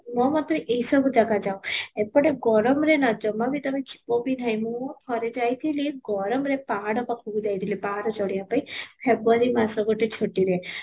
ପରିଷ୍କାର ତ ମୋ ମତରେ ଏ ସବୁ ଜାଗା ଯାଉ, ଏପଟେ ଗରମରେ ନା ଜମା ବି ତୋମେ ଯିବ ବି ନାହିଁ, ମୁଁ ଥରେ ଯାଇଥିଲି ଗରମରେ ପାହାଡ ପାଖକୁ ଯାଇଥିଲି, ପାହାଡ ଚଢିବା ପାଇଁ february ମାସ ଗୋଟେ ଛୁଟିରେ